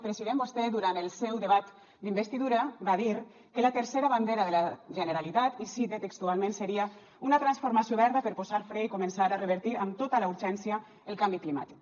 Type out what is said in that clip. president vostè durant el seu debat d’investidura va dir que la tercera bandera de la generalitat i cite textualment seria una transformació verda per posar fre i començar a revertir amb tota la urgència el canvi climàtic